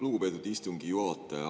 Lugupeetud istungi juhataja!